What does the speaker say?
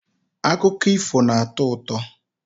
Akụkọ ifo na-atọ ụtọ.